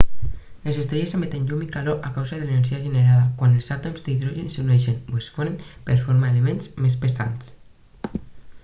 les estrelles emeten llum i calor a causa de l'energia generada quan els àtoms d'hidrogen s'uneixen o es fonen per formar elements més pesants